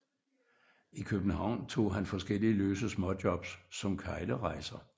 I København tog han forskellige løse småjobs som keglerejser